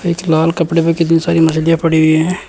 इक लाल कपड़े में कितनी सारी मछलियां पड़ी हुई हैं।